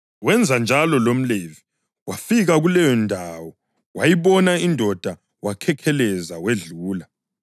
Wenza njalo lomLevi, wafika kuleyondawo wayibona indoda wakhekheleza wedlula.